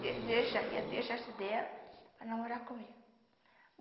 de deixaria deixasse dela para namorar comigo.